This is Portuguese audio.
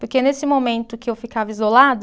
Porque nesse momento que eu ficava isolada,